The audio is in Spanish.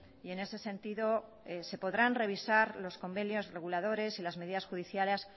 y en ese sentido se podrán revisar los convenios reguladores y las medidas judiciales